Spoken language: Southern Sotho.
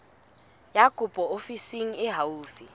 ya kopo ofising e haufi